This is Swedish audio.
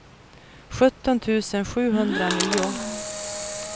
sjutton tusen sjuhundranio